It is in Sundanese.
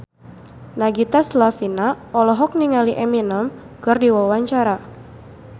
Nagita Slavina olohok ningali Eminem keur diwawancara